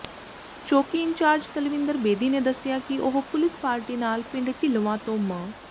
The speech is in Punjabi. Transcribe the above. ਚੌਕੀ ਇੰਚਾਰਜ ਤਰਵਿੰਦਰ ਬੇਦੀ ਨੇ ਦੱਸਿਆ ਕਿ ਉਹ ਪੁਲਿਸ ਪਾਰਟੀ ਨਾਲ ਪਿੰਡ ਿਢੱਲਵਾਂ ਤੋਂ ਮ